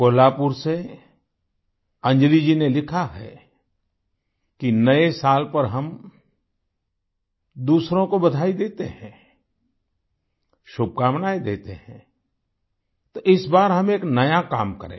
कोल्हापुर से अंजलि जी ने लिखा है किनए साल पर हम दूसरों को बधाई देते हैं शुभकामनाएं देते हैं तो इस बार हम एक नया काम करें